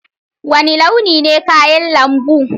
Wani launi ne kayan lambu?